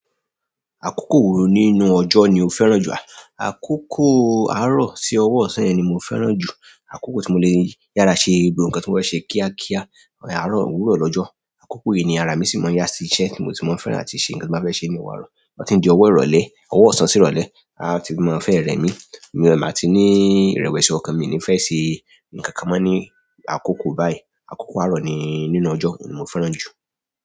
Akókò wo nínú ọjọ́ ni o fẹ́ràn jù? Akókò àárọ̀ sí ọwọ́ ọ̀sán ni mo fẹ́ràn jù. Akókò tí mo lè yára ṣe gbogbo nǹkan tí mo fẹ́ ṣe kíákíá. Àárọ̀ wúró lọ́jọ́. Akókò yìí ni ara mi sì máa ń yá sí iṣẹ́ tí mo ti máa ń fẹ́ràn àti ṣe ǹkan tí mo fẹ́ ṣe ní ọ̀wurọ̀. To ti ń di ọwọ́ ìrọ̀lẹ́, ọwọ́ ọ̀sán sí ìrọ̀lẹ́. A ti máa ń fẹ́ rẹmi. Iyen ma tí ní ìrẹ̀wẹ̀sì ọkàn, mi ò ní fẹ́ ṣe ǹkan kan mọ́ ní àkókò báyìí. Akókò àárọ̀ ni nínú ọjọ́ oun ni mo fẹ́ràn jù.